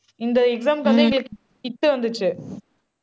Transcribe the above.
இந்த exam க்கு வந்து இவங்களுக்கு த் வந்துச்சு